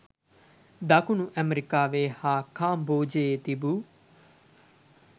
දකුණු ඇමරිකාවේ හා කාම්බෝජයේ තිබූ